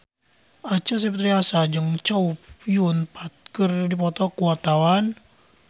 Acha Septriasa jeung Chow Yun Fat keur dipoto ku wartawan